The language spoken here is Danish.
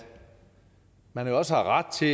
man også har ret til